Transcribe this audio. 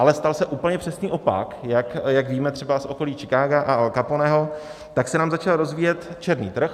Ale stal se úplně přesný opak, jak víme třeba z okolí Chicaga a Al Caponeho, tak se tam začal rozvíjet černý trh.